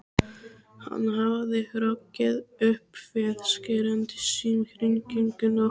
Hann hafði hrokkið upp við skerandi símhringingu nótt